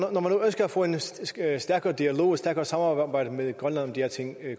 nu ønsker at få en stærkere dialog et stærkere samarbejde med grønland om de her ting